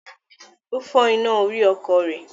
Ó fọ́ iná orí ọkọ̀ rẹ̀.